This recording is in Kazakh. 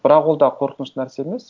бірақ ол да қорқынышты нәрсе емес